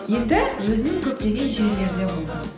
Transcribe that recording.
енді өзің көптеген жерлерде болдың